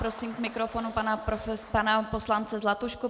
Prosím k mikrofonu pana poslance Zlatušku.